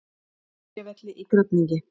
Nesjavelli í Grafningi.